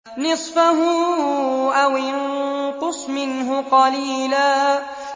نِّصْفَهُ أَوِ انقُصْ مِنْهُ قَلِيلًا